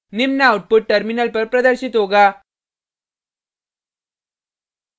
निम्न output terminal पर प्रदर्शित होगा